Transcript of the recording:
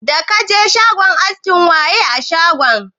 Da kaje shagon askin waye a shagon?